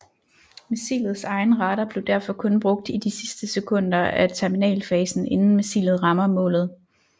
Missilets egen radar bliver derfor kun brugt i de sidste sekunder af terminalfasen inden missilet rammer målet